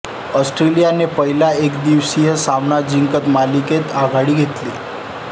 ऑस्ट्रेलियाने पहिला एकदिवसीय सामना जिंकत मालिकेत आघाडी घेतली